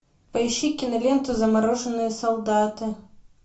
поищи киноленту замороженные солдаты